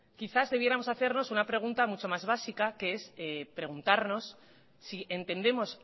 quizás debiéramos hacernos una pregunta mucho más básica que es preguntarnos si entendemos